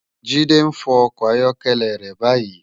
Jide n fò òkò áyòkèlè rè bàyí